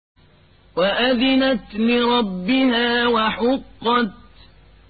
وَأَذِنَتْ لِرَبِّهَا وَحُقَّتْ